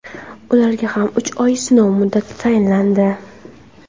ularga ham uch oy sinov muddati tayinlandi.